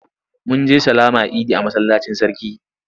Mun je sallama idi a masallacin sarki.